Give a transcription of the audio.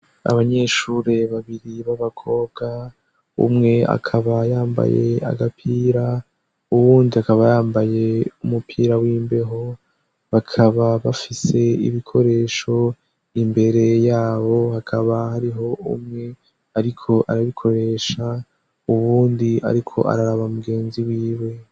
abanyeshure babiri b'abakobwa umwe akaba yambaye agapira uwundi akaba yambaye umupira w'imbeho bakaba bafise ibikoresho imbere yabo hakaba hariho umwe ariko arabikoresha uwundi ariko araraba mugenzi wiwe